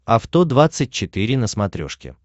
авто двадцать четыре на смотрешке